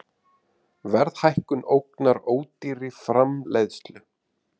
Verðhækkun ógnar ódýrri framleiðslu